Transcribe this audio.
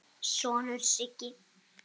sonur, Siggi.